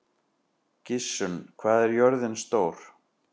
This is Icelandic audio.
Gissunn, hvað er jörðin stór?